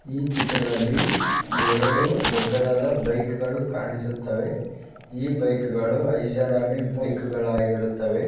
ಈ ಚಿತ್ರದಲ್ಲಿ ಎರಡು ದೊಡ್ಡದಾದ ಬೈಕ್ಗ ಳು ಕಾಣಿಸುತ್ತವೆ ಈ ಬೈಕ್ ಗಳು ಐಷಾರಾಮಿ ಬೈಕ್ಗ ಳಾಗಿರುತ್ತವೆ .